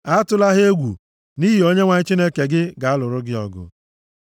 Atụla ha egwu, nʼihi Onyenwe anyị Chineke gị ga-alụrụ gị ọgụ.”